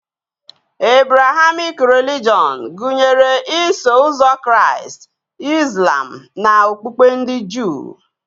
Ebrahamik relijọn gụnyere Iso ụzọ Kraịst, Izlam na okpukpe ndị Juu